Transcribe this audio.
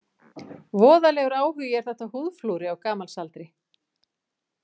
Voðalegur áhugi er þetta á húðflúri á gamals aldri.